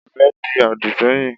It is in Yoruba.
Mi ò fẹ́ di àdì sẹ́yìn.